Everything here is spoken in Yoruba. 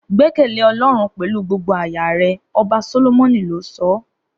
Gbẹkẹle ọlọrun pẹlú gbogbo aya rẹ ọba solomoni lo sọ